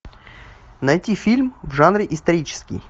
найти фильм в жанре исторический